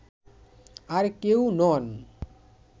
আর কেউ নন